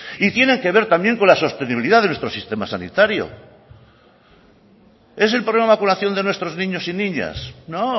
y tiene que ver también con la sostenibilidad de nuestro sistema sanitario es el problema de vacunación de nuestros niños y niñas no